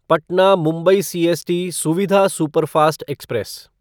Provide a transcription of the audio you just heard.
Patna Mumbai CST सुविधा superfast express